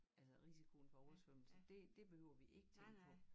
Altså risikoen for oversvømmelse det det behøver vi ikke tænke på